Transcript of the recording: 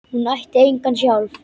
Hún ætti enga sjálf.